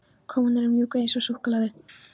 Konur eru mjúkar eins og súkkulaði.